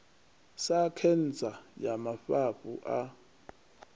sa khentsa ya mafhafhu a